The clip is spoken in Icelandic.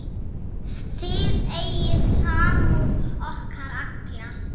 Þið eigið samúð okkar alla.